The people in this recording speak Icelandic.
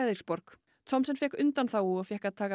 Frederikshavn Thomsen fékk undanþágu og fékk að taka